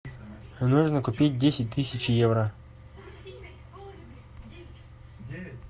нужно купить десять тысяч евро